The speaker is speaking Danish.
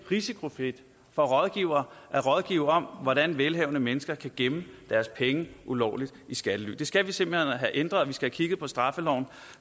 risikofrit for rådgivere at rådgive om hvordan velhavende mennesker kan gemme deres penge ulovligt i skattely det skal vi simpelt hen have ændret vi skal kigge på straffeloven